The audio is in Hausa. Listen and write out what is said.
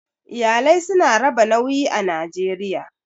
Iyalai su na raba nauyi a Najeriya.